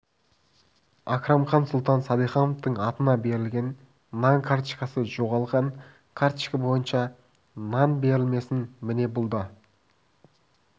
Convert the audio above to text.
акрамхан сұлтан саидхановтың атына берілген нан карточкасы жоғалған жоғалған карточка бойынша нан берілмесін міне бұл да